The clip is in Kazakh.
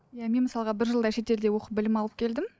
иә мен мысалға бір жылдай шетелде оқып білім алып келдім